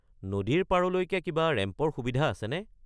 নদীৰ পাৰলৈকে কিবা ৰেম্পৰ সুবিধা আছেনে?